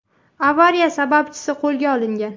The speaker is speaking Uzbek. Avariya sababchisi qo‘lga olingan.